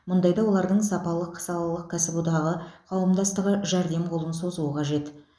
мұндайда олардың сапалық салалық кәсіподағы қауымдастығы жәрдем қолын созуы қажет